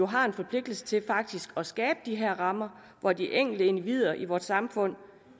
har en forpligtelse til at skabe de her rammer hvor de enkelte individer i vores samfund